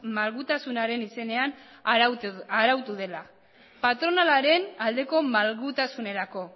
malgutasunaren izenean arautu dela patronalaren aldeko malgutasunerako